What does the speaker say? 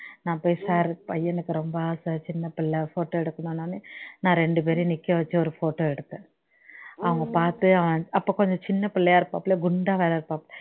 நான் போய் sir பையனுக்கு ரொம்ப ஆசை சின்ன புள்ளை photo எடுக்கனும்ன உடனே நான் இரண்டு பேரையும் நிக்க வச்சு ஒரு photo எடுத்தேன் அவங்க பாத்து அவன் அப்போ கொஞ்சம் சின்ன பிள்ளையா இருப்பாப்ல குண்டா வேற இருப்பாப்ல